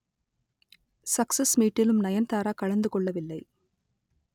success மீட்டிலும் நயன்தாரா கலந்து கொள்ளவில்லை